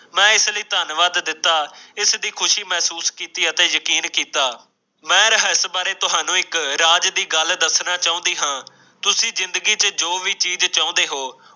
ਮੈਂ ਇਸ ਲੀ ਧੰਨਵਾਦ ਦਿੱਤੋ ਇਸ ਦੀ ਖੁਸ਼ੀ ਮਹਿਸੂਸ ਕੀਤੀ ਅਤੇ ਯਕੀਨ ਕੀਤਾ ਹੈ ਮੈਂ ਰਇਸ ਬਾਰੇ ਤੁਹਾਨੂੰ ਇੱਕ ਰਾਜ਼ ਦੀ ਗੱਲ ਦੱਸਣਾ ਚਾਹੁੰਦੀ ਹੈ ਤੁਸੀ ਜ਼ਿੰਦਗੀ ਦੀ ਚ ਜੋ ਵੀ ਚੀਜ਼ ਚਾਹੁੰਦੇ ਹੋ